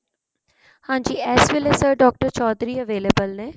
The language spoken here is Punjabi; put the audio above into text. ਹਾਂਜੀ ਇਸ ਵੇਲੇ sir doctor ਚੋਧਰੀ available ਨੇ